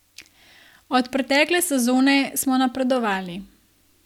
Od pretekle sezone smo napredovali.